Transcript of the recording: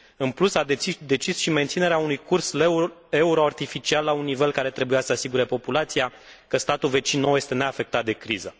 În plus, a decis și menținerea unui curs leu euro artificial la un nivel care trebuia să asigure populația că statul vecin nouă este neafectat de criză.